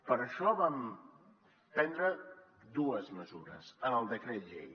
per això vam prendre dues mesures en el decret llei